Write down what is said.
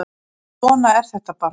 En svona er þetta bara